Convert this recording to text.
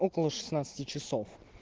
около шестнадцати часов